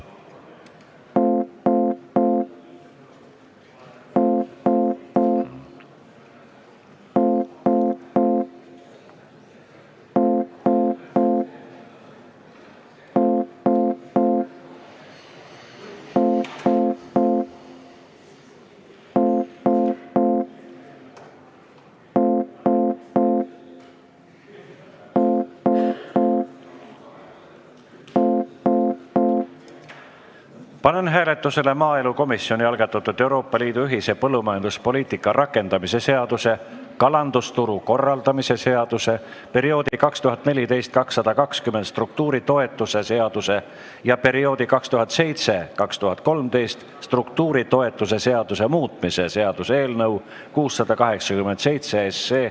Panen hääletusele maaelukomisjoni algatatud Euroopa Liidu ühise põllumajanduspoliitika rakendamise seaduse, kalandusturu korraldamise seaduse, perioodi 2014–2020 struktuuritoetuse seaduse ja perioodi 2007–2013 struktuuritoetuse seaduse muutmise seaduse eelnõu 687.